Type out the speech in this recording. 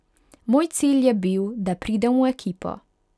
Moj cilj je bil, da pridem v ekipo.